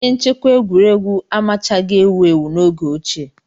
Ihe nchekwa egwuregwu amachaghị ewu ewu n'oge ochie.